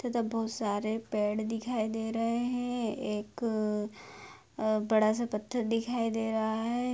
तथा बहुत सारे पेड़ दिखाई दे रहे हैं एक अ बड़ा सा पत्थर दिखाई दे रहा है।